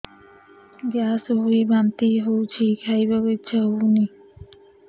gas ହୋଇ ବାନ୍ତି ହଉଛି ଖାଇବାକୁ ଇଚ୍ଛା ହଉନି